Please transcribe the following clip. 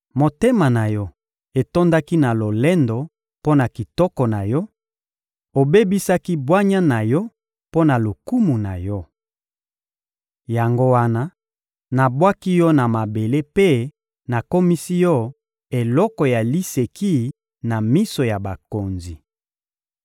Motema na yo etondaki na lolendo mpo na kitoko na yo; obebisaki bwanya na yo mpo na lokumu na yo. Yango wana, nabwaki yo na mabele mpe nakomisi yo eloko ya liseki na miso ya bakonzi.